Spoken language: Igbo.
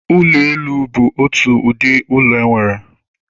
Ụlọ elu bụ otu ụdị ụlọ e nwere